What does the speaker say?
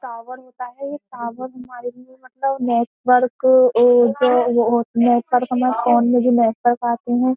Tower होता है ये टवर हमारे लिए मतलब नेटवर्क नेटवर्क हमे फोन में जो मैसेज आते है।